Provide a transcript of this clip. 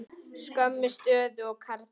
Sömu stöðu og karlar.